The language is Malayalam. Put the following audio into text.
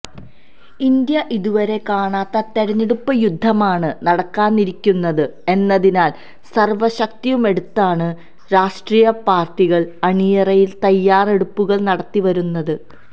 ഇന്ത്യ ഇതുവരെ കാണാത്ത തെരഞ്ഞെടുപ്പ് യുദ്ധമാണ് നടക്കാനിരിക്കുന്നത് എന്നതിനാൽ സർവ ശക്തിയുമെടുത്താണ് രാഷ്ട്രീയ പാർട്ടികൾ അണിയറയിൽ തയാറെടുപ്പുകൾ നടത്തി വരുന്നത്